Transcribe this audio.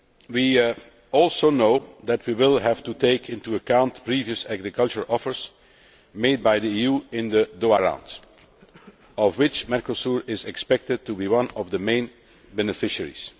We also know that we will have to take into account previous agricultural offers made by the EU in the Doha Round, of which Mercosur is expected to be one of the main beneficiaries.